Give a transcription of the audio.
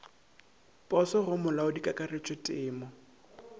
poso go molaodi kakaretšo temo